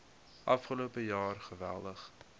afgelope jaar geweldig